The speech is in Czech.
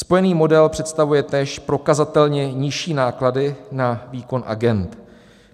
"Spojený model představuje též prokazatelně nižší náklady na výkon agend.